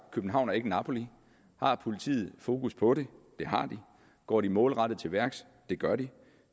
københavn ikke napoli har politiet fokus på det det har de går de målrettet til værks det gør de